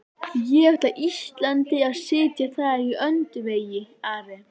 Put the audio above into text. Ég ætla Íslandi að sitja þar í öndvegi, Ari!